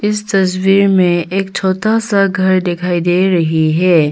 इस तस्वीर में एक छोटा सा घर दिखाई दे रही है।